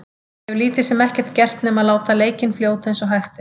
Ég hef lítið sem ekkert gert nema að láta leikinn fljóta eins og hægt er.